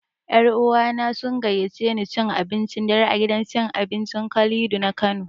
Ƴa uwana sun gayyaci ne cin abincin dare a gidan cin abincin Kalido na Kano.